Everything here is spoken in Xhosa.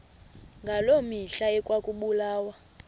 ngaloo mihla ekwakubulawa